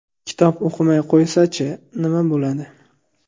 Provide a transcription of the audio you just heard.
Kitob o‘qimay qo‘ysa-chi, nima bo‘ladi?